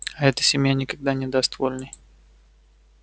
а эта семья никогда не даст вольной